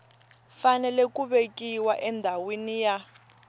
fanele ku vekiwa endhawini ya